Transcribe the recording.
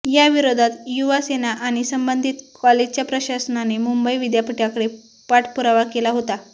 याविरोधात युवा सेना आणि संबंधित कॉलेजच्या प्रशासनाने मुंबई विद्यापीठाकडे पाठपुरावा केला होता